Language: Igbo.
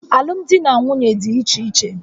Alụmdi na nwunye dị iche iche